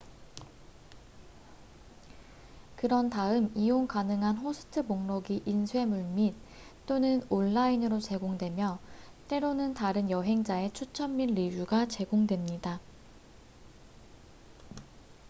그런 다음 이용 가능한 호스트 목록이 인쇄물 및/또는 온라인으로 제공되며 때로는 다른 여행자의 추천 및 리뷰가 제공됩니다